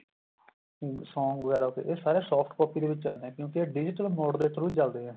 ਹਮ song ਵਗੈਰਾ ਇਹ ਸਾਰੇ soft copy ਦੇ ਵਿੱਚ ਆਂਦੇ ਏ ਕਿਉਂਕਿ ਇਹ digital mode ਦੇ through ਚੱਲਦੇ ਏ